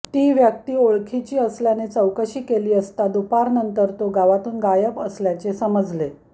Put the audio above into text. ती व्यक्ती ओळखीची असल्याने चौकशी केली असता दुपारनंतर तो गावातून गायब असल्याचे समजले